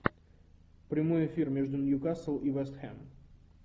прямой эфир между ньюкасл и вест хэм